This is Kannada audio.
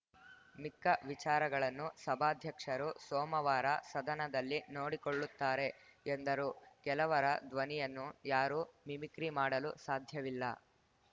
ಮಿಕ್ಕ ವಿಚಾರಗಳನ್ನು ಸಭಾಧ್ಯಕ್ಷರು ಸೋಮವಾರ ಸದನದಲ್ಲಿ ನೋಡಿಕೊಳ್ಳುತ್ತಾರೆ ಎಂದರು ಕೆಲವರ ಧ್ವನಿಯನ್ನು ಯಾರೂ ಮಿಮಿಕ್ರಿ ಮಾಡಲು ಸಾಧ್ಯವಿಲ್ಲ